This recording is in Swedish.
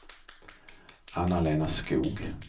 Anna-Lena Skog